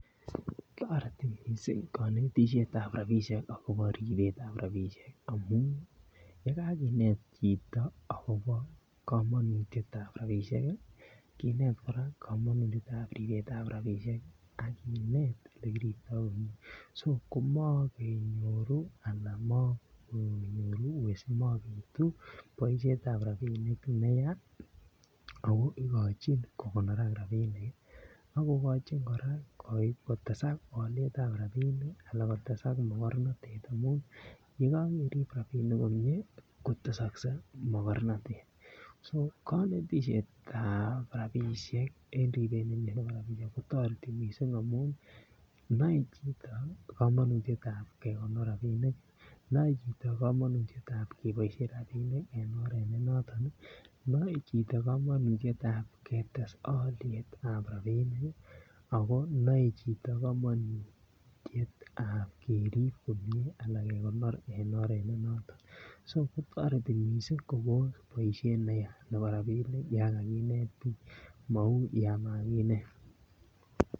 Toreti mising konetisiet ab rabisiek akobo ribetab rabisiek amun yekakinet chito agobo kamanutiet ab rabisiek kinet kora kamanutiet ab ribet ab rabisiek ak kinet Ole kiriptoi komie so komokenyoru anan mabitu boisiet ab rabinik ne ya ako igochin kogonorak rabinik ak kogochin kora kotesak alyetab rabinik ak kotesak mogornatet amun ye ko kerib rabinik komie kotesoksei mogornatet so konetisiet ab rabisiek en ribet ab rabisiek kotoreti mising amun noe chito kamanutiet ab kegonor rabinik kamanutiet ab kegonor rabisiek en oret ne noton noe chito kamanutiet ab ketes alyet ab rabinik ak ako konoe chito kamanutiet ab kerib komie anan kegonor en oret ne noton so kotoreti mising kobos boisiet neyaa nebo rabinik yon kaginet bik mou yon makinet